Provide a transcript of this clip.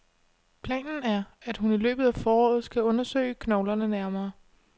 Planen er, at hun i løbet af foråret skal undersøge knoglerne nærmere.